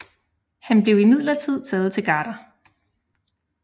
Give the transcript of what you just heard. Han blev imidlertid taget til garder